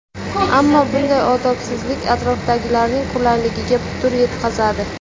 Ammo bunday odobsizlik atrofdagilarning qulayligiga putur yetkazadi.